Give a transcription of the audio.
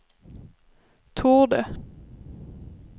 torde